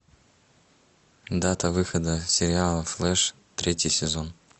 дата выхода сериала флэш третий сезон